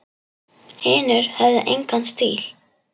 Hinir höfðu engan stíl.